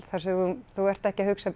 þar sem þú ert ekki að hugsa